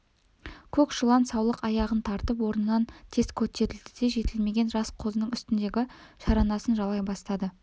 көк шулан саулық аяғын тартып орнынан тез көтерілді де жетілмеген жас қозының үстіндегі шаранасын жалай бастады